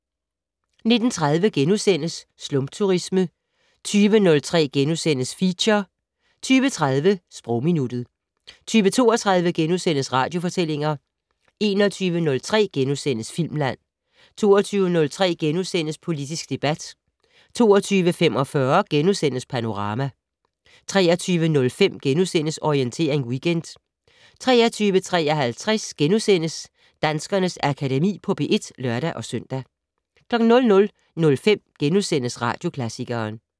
19:30: Slumturisme * 20:03: Feature * 20:30: Sprogminuttet 20:32: Radiofortællinger * 21:03: Filmland * 22:03: Politisk debat * 22:45: Panorama * 23:05: Orientering Weekend * 23:53: Danskernes Akademi på P1 *(lør-søn) 00:05: Radioklassikeren *